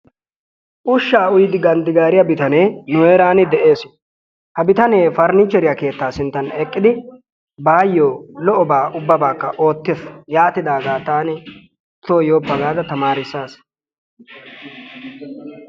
Ushsha uyyidi ganddigaariyaa bitanee nu heeran de'ees. ha bitanee faraniicheriyaakeetta sinttan eqqidi bayyo lo''o ubabbakka oottees. yaanidaaga taani so yooppa gaada tamarissaas.